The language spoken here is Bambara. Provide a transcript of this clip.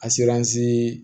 A serisi